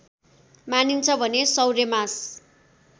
मानिन्छ भने सौर्यमास